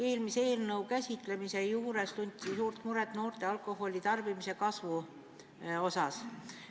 Eelmise eelnõu arutelul tunti suurt muret, et alkoholi tarbimine noorte hulgas kasvab.